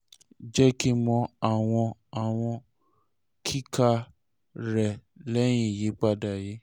jẹ ki n mọ awọn awọn kika rẹ lẹhin iyipada yii